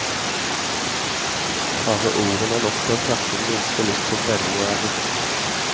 Bare ordene er nok til å kverke den minste lyst på spenning og erotikk.